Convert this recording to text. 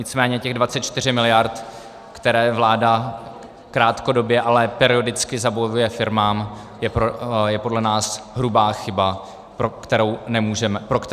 Nicméně těch 24 miliard, které vláda krátkodobě, ale periodicky zabavuje firmám, je podle nás hrubá chyba, pro kterou nemůžeme hlasovat.